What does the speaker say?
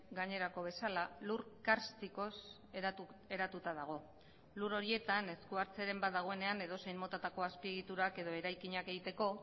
gainerako bezala lur karstikoz eratuta dago lur horietan eskuhartzearen badagoenean edozein motatako azpiegiturak edo eraikinak egiteko